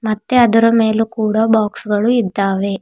ಮತ್ತೆ ಅದರ ಮೇಲು ಕೂಡ ಬಾಕ್ಸ್ ಗಳು ಇದ್ದಾವೆ.